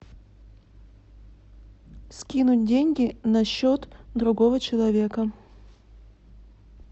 скинуть деньги на счет другого человека